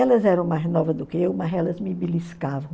Elas eram mais novas do que eu, mas elas me beliscavam.